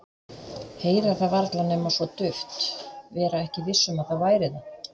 Heyra það varla nema svo dauft, vera ekki viss um að það væri það.